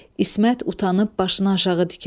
İsmət utanıb başını aşağı dikər.